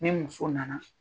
Ni muso nana